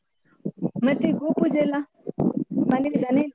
ಮತ್ತೆ ಗೋಪೂಜೆಯೆಲ್ಲಾ? ಮನೆಯಲ್ಲಿ ದನ ಇಲ್ವಾ?